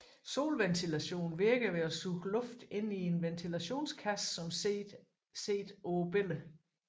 Solventilation virker ved at suge luft ind i en ventilationskasse som set på billedet